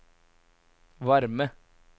varme